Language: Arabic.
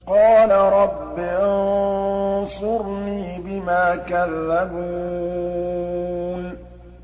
قَالَ رَبِّ انصُرْنِي بِمَا كَذَّبُونِ